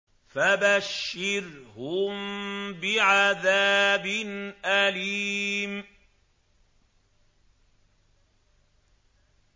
فَبَشِّرْهُم بِعَذَابٍ أَلِيمٍ